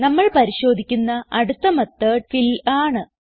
നമ്മൾ പരിശോധിക്കുന്ന അടുത്ത മെത്തോട് ഫിൽ ആണ്